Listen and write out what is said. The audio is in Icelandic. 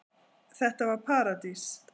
Þetta var paradís.